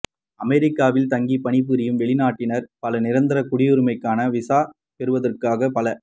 அமெரிக்காவில் தங்கி பணிபுரியும் வெளிநாட்டினர் பலர் நிரந்தர குடியுரிமைக்கான விசா பெறுவதற்காக பல